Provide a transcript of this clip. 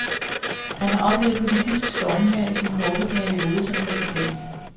Han har oplevet politisk stormvejr i sin korte periode som præsident.